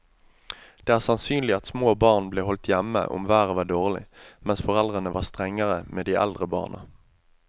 Det er sannsynlig at små barn ble holdt hjemme om været var dårlig, mens foreldrene var strengere med de eldre barna.